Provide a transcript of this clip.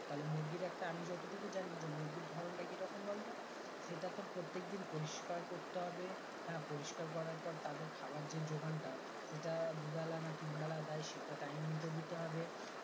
তাহলে মুরগির একটা আমি যতটুকু জানি যে মুরগির ধরণটা কি রকম বলতো সেটা তোর প্রত্যেকদিন পরিস্কার করতে হবে হ্যাঁ পরিস্কার করার পর তাদের খাবার যে যোগানটা সেটা দু-বেলা না তিন বেলা দেয় সেটা time মতো দিতে হবে